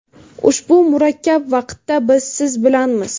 Ushbu murakkab vaqtda biz siz bilanmiz.